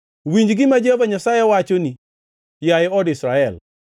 Winji gima Jehova Nyasaye wachoni, yaye od Israel.